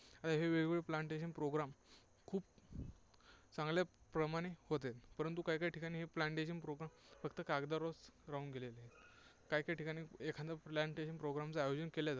आता हे वेगवेगळे plantation program खूप चांगल्या प्रमाणे होत आहेत. परंतु काहीकाही ठिकाणी हे plantation program फक्त कागदावरच राहून गेलेले आहेत. काही काही ठिकाणी एखादं plantation program चं आयोजन केल्या जातं.